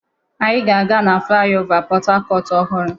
Anyị ga-aga na flaịọvá Port Harcourt ọhụrụ.